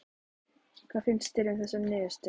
Hvað finnst þér um þessa niðurstöðu?